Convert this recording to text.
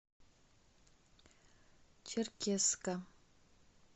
черкесска